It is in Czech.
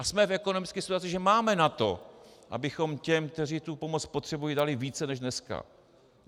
A jsme v ekonomické situaci, že máme na to, abychom těm, kteří tu pomoc potřebují, dali více než dneska.